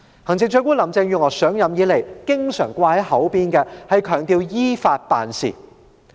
行政長官林鄭月娥上任以來經常掛在嘴邊的是強調要依法辦事。